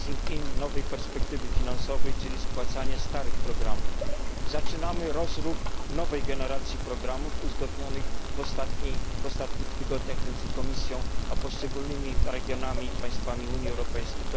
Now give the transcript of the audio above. phasing in nowej perspektywy finansowej, czy spłacanie starych programów. Zaczynamy rozruch nowej generacji programów uzgodnionych w ostatnich tygodniach między Komisją a poszczególnymi regionami i państwami Unii Europejskiej.